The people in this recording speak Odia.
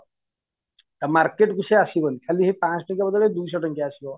ଆଉ market କୁ ସେ ଆସିବନି ଖାଲି ୫୦୦ ଟଙ୍କିଆ ବଦଳେରେ ୨୦୦ ଟଙ୍କିଆ ଆସିବ